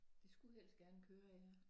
De skulle helst gerne køre ja